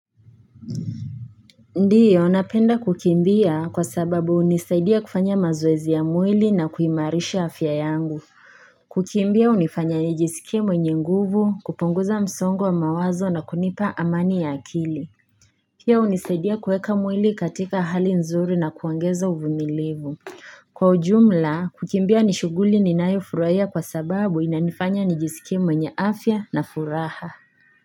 Ndio napenda kukimbia, kwa sababu hunisaidia kufanya mazoezi ya mwili na kuimarisha afya yangu kukimbia hunifanya nijisikie mwenye nguvu, kupunguza msongo wa mawazo na kunipa amani ya akili pia hunisaidia kuweka mwili katika hali nzuri na kuongeza uvumilivu. Kwa ujumla, kukimbia ni shughuli ninayofurahia kwa sababu inanifanya nijisikie mwenye afya na furaha.